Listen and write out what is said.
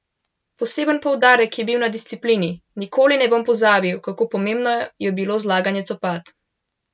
Poseben poudarek je bil na disciplini: "Nikoli ne bom pozabil, kako pomembno je bilo zlaganje copat.